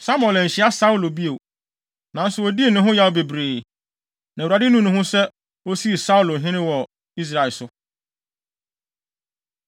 Samuel anhyia Saulo bio nanso odii ne ho yaw bebree. Na Awurade nuu ne ho sɛ osii Saulo hene wɔ Israel so.